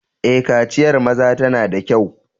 Eh, kaciyar maza tana da kyau.